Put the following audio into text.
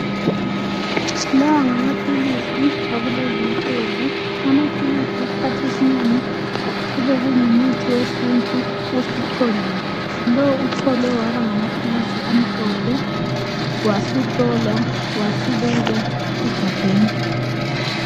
Lawa ngamaphilisi akulezi insuku. Amaphilisi isikhathi esinengi kubekungumuthi wesintu osucholiwe. Lowu ucholwe waba ngamaphilisi amhlophe wasuhlolwa wasubekwa egabheni.